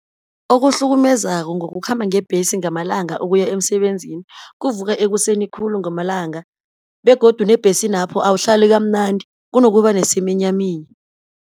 Okuhlukumezako ngokukhamba ngebhesi ngamalanga ukuya emsebenzini, kuvuka ekuseni khulu ngamalanga, begodu nebhesinapho awuhlali kamnandi kunokuba nesiminyaminya.